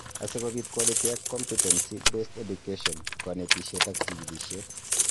Asikobit quality ak competency-based education , konetishet ak jikilisiet